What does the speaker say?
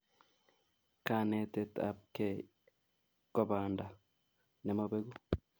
kanetet apkei ko panda nemabeku